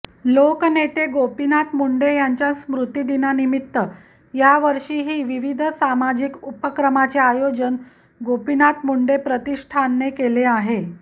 लोकनेते गोपीनाथ मुंडे यांच्या स्मृतिदिनानिमित्त यावर्षीही विविध सामाजिक उपक्रमाचे आयोजन गोपीनाथ मुंडे प्रतिष्ठानने केले आहे